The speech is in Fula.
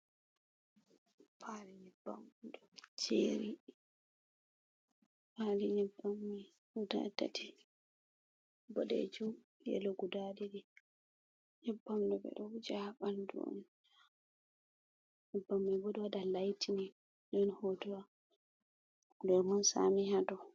Paali nyebbam ɗo jeeri. Paali nyebbam mai guda tati. Boɗeejum, yelo guda ɗiɗi. Nyebbam ɗo ɓe ɗo wuja ha ɓandu on. Nyebbam mai bo ɗo waɗa laaitinin. Ɗon hotowa lemun saami ha dou.